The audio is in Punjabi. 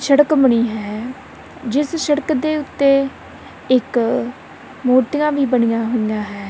ਸੜਕ ਬਣੀ ਹੈ ਜਿਸ ਸੜਕ ਦੇ ਉੱਤੇ ਇੱਕ ਮੂਰਤੀਆਂ ਵੀ ਬਣੀਆਂ ਹੋਈਆਂ ਹੈਂ।